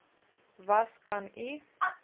was kan u